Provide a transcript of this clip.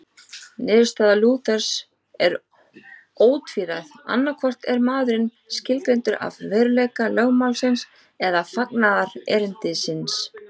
Niðurstaða Lúthers er ótvíræð, annaðhvort er maðurinn skilgreindur af veruleika lögmálsins eða fagnaðarerindisins.